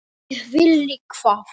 Ég vilji það?